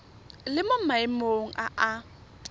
le mo maemong a a